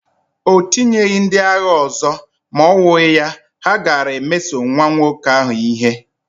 O tinyeghị ndị agha ọzọ, ma owuya, ha gaara emeso nwa nwoke ahụ ihe.